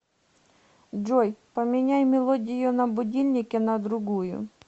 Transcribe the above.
джой поменяй мелодию на будильнике на другую